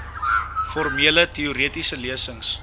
formele teoretiese lesings